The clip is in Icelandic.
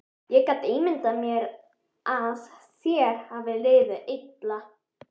Ég get ímyndað mér að þér hafi liðið illa.